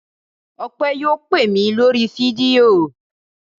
Ọpẹ́ yóò pè mí lórí fídíò.